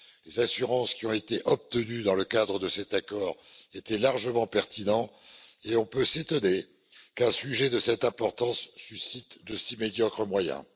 Les assurances qui ont été obtenues dans le cadre de cet accord étaient largement pertinentes et l'on peut s'étonner qu'un sujet de cette importance suscite de si médiocres moyens.